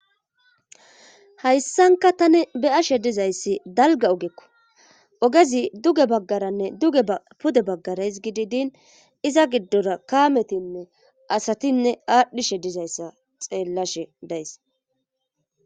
hayssanka tani beyashe dizayssi dalga ogekko ogezi duge baggaranne duge pude baggarays gididin iza giddora kaametinne asatinne aadhdhishe dizayssa xeellashe days